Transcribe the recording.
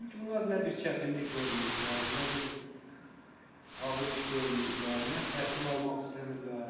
Çünki bunlar nə bir çətinlik görməyiblər, nə bir ağır iş görməyiblər, nə təhsil almaq istəmirlər.